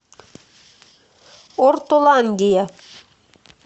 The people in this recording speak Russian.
ортоландия